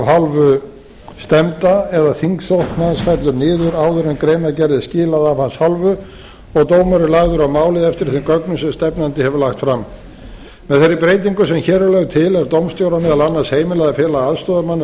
hálfu stefnda eða þingsókn hans fellur niður áður en greinargerð er skilað af hans hálfu og dómur er lagður á málið eftir þeim gögnum sem stefnandi hefur lagt fram með þeirri breytingu sem hér er lögð til er dómstjóra meðal annars heimilað að fela aðstoðarmanni að